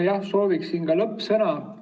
Jah, ma sooviksin ka lõppsõna.